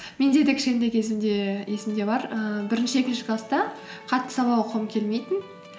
менде де кішкентай кезімде есімде бар ііі бірінші екінші класста қатты сабақ оқығым келмейтін